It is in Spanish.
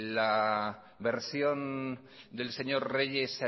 la versión del señor reyes